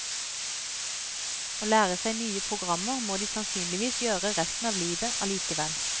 Å lære seg nye programmer må de sannsynligvis gjøre resten av livet allikevel.